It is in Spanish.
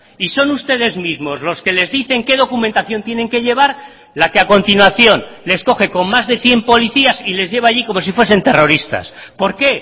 y son ustedes mismos los que les dicen qué documentación tienen que llevar la que a continuación les coge con más de cien policías y les lleva allí como si fuesen terroristas por qué